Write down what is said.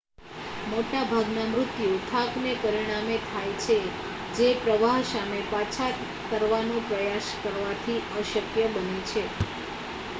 મોટાભાગના મૃત્યુ થાકને પરિણામે થાય છે જે પ્રવાહ સામે પાછા તરવાનો પ્રયાસ કરવાથી અશક્ય બને છે